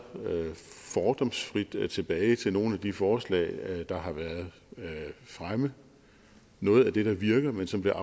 fordomsfrit tilbage til nogle af de forslag der har været fremme noget af det der virker men som blev